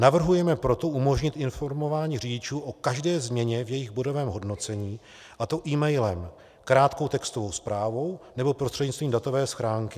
Navrhujeme proto umožnit informování řidičů o každé změně v jejich bodovém hodnocení, a to emailem, krátkou textovou zprávou nebo prostřednictvím datové schránky.